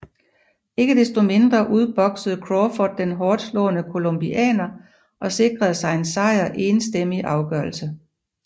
Ikke desto mindre udboksede Crawford den hårdtslående colombianer og sikrede sig en sejr enstemmig afgørelse